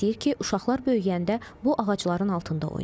İstəyir ki, uşaqlar böyüyəndə bu ağacların altında oynasın.